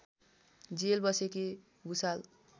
jail बसेकी भुसाल